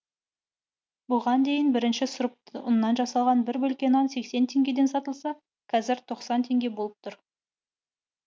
бұған дейін бірінші сұрыпты ұннан жасалған бір бөлке нан сексен теңгеден сатылса қазір тоқсан теңге болып тұр